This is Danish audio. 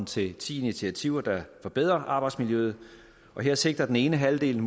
til ti initiativer der forbedrer arbejdsmiljøet og her sigter den ene halvdel